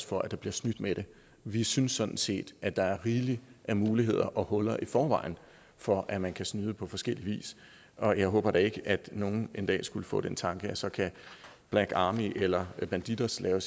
for at der bliver snydt med det vi synes sådan set at der er rigeligt af muligheder og huller i forvejen for at man kan snyde på forskellig vis og jeg håber da ikke at nogen en dag skulle få den tanke at så kan black army eller bandidos lave